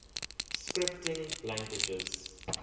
scripting languages